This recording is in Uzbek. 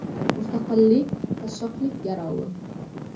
Mustaqillik qashshoqlik garovi.